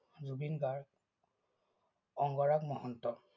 Zubeen Garg, Angaraag Mahanta.